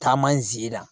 Taama n zera